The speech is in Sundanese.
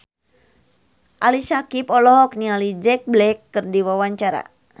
Ali Syakieb olohok ningali Jack Black keur diwawancara